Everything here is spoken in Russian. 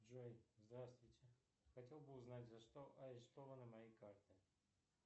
джой здравствуйте хотел бы узнать за что арестованы мои карты